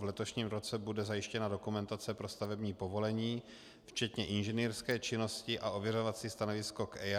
V letošním roce bude zajištěna dokumentace pro stavební povolení včetně inženýrské činnosti a ověřovací stanovisko k EIA.